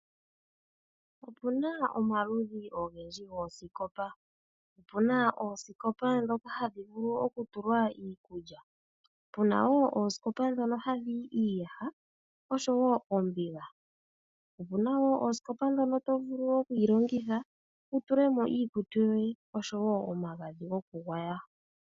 Opuna omaludhi ogendji goosikopa, opuna oosikopa ndhoka hadhi vulu okutulwa iikulya, puna woo oosikopa ndhono hadhi yi iiyaha osho woo oombiga, opuna woo oosikopa ndhono to vulu oku yi longitha wu tule mo iikutu yoye osho woo omagadhi gokugwaya.